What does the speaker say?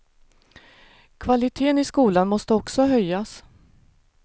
Kvaliteten i skolan måste också höjas.